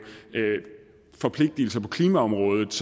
forpligtigelser på klimaområdet